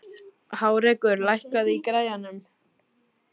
Hárekur, lækkaðu í græjunum.